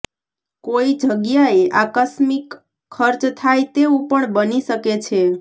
કોઈ જગ્યાએ આકસ્મિકખર્ચ થાય તેવુ પણ બની શકે છે